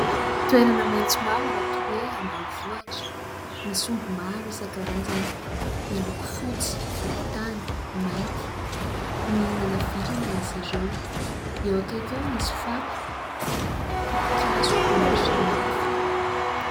Toerana maitso mavana toa hoe ambanivohitra, misy omby maro isan-karazany : miloko fotsy, volontany, mainty. Mihinana vilona izy ireo. Eo akaiky eo misy fako, potikazo maro samihafa.